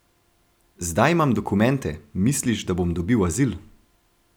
Zdaj imam dokumente, misliš, da bom dobil azil?